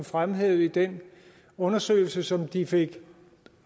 fremhævede i den undersøgelse som de fik